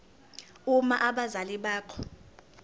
uma abazali bakho